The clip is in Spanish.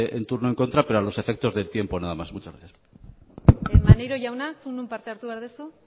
turno en contra pero a los efectos del tiempo nada más muchas gracias bien maneiro jauna zuk non parte hartu behar duzu